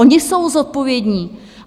Oni jsou zodpovědní.